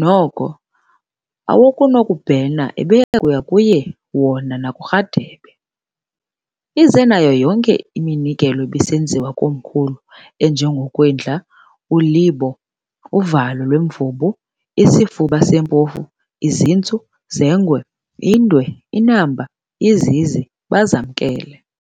noko awokubhena ebeyakuya kuye wona nakuRharhabe ize nayo yonke iminikelo ebisenziwa komkhulu enje ngokwindla, ulibo, uvalo lwemvubu, isifuba sempofu, izintsu zengwe, indwe, inamba, izizi, bazamkele.